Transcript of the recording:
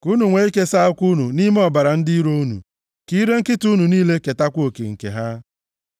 ka unu nwee ike saa ụkwụ unu nʼime ọbara ndị iro unu, ka ire nkịta unu niile ketakwa oke nke ha.”